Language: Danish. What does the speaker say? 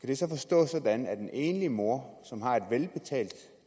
det så forstås sådan at når en enlig mor som har et velbetalt